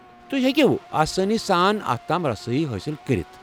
تو٘ہہِ ہیٚکِو آسٲنی سان اتھ تام رسٲیی حٲصِل کٔرِتھ۔